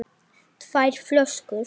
tvær flöskur?